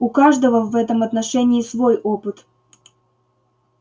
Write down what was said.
у каждого в этом отношении свой опыт